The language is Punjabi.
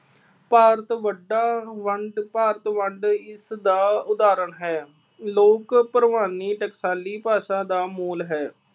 ਭਾਰਤ ਵੱਡਾ ਵੰਡ ਭਾਰਤ ਵੰਡ ਇਸਦਾ ਉਦਾਹਰਨ ਹੈ। ਲੋਕ ਭਰਵਾਨੀ ਟਕਸਾਲੀ ਭਾਸ਼ਾ ਦਾ ਮੂਲ ਹੈ।